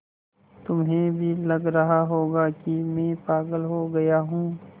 तुम्हें भी लग रहा होगा कि मैं पागल हो गया हूँ